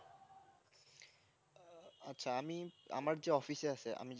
আমি আমার যে office এ আছে